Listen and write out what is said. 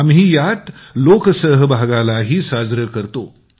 आम्ही यात लोक सहभागालाही साजरं करतो